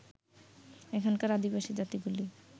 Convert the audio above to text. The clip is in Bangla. এখানকার আদিবাসী জাতিগুলি